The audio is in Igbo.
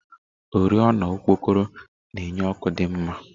oriọna okpokoro na-enye ọkụ dị mma.